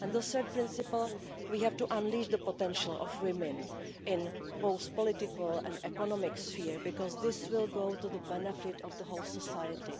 And the third principle, we have to unleash the potential of women in both the political and economic sphere, because this will be to the benefit of the whole of society.